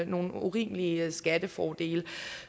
nogle urimelige skattefordele